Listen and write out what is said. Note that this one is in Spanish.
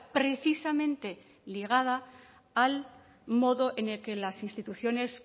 precisamente ligada al modo en el que las instituciones